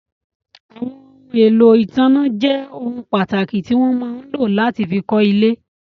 Àwọn ohun èlò ìtanná jẹ́ ohun pàtàkì tí wọ́n máa ń lò láti fí kọ́ ilé.